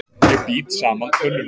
Ég bít saman tönnunum.